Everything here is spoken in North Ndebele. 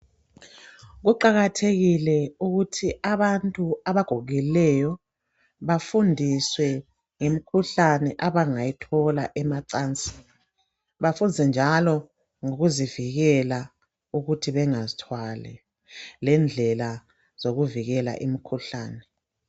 Kuqakathekile ukuthi abantu abagogekileyo bafundiswe ngemikhuhlane abangayithola besemacansini. Bafundiswe njalo ngokuzivikela ukuthi bengazithwali lendlela zokuvikela imikhuhlane.